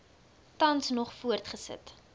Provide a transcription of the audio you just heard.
tans nog voortgesit